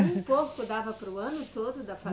Um porco dava para o ano todo da fa